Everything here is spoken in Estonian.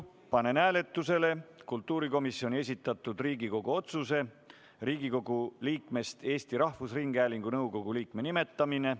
Panen hääletusele kultuurikomisjoni esitatud Riigikogu otsuse "Riigikogu liikmest Eesti Rahvusringhäälingu nõukogu liikme nimetamine".